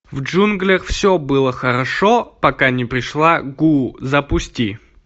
в джунглях все было хорошо пока не пришла гу запусти